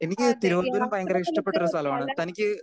speaker 2 എനിക്ക് തിരുവനന്തപുരം ഭയങ്കര ഇഷ്ടപ്പെട്ട ഒരു സ്ഥലമാണ് തനിക്ക്